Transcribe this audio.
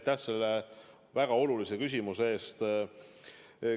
Aitäh selle väga olulise küsimuse eest!